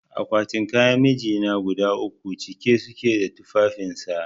Akwatin kayan mijina guda uku cike suke da tufafin sa